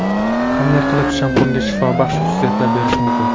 Qanday qilib shampunga shifobaxsh xususiyatlar berish mumkin.